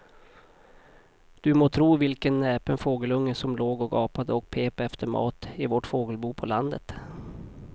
Du må tro vilken näpen fågelunge som låg och gapade och pep efter mat i vårt fågelbo på landet.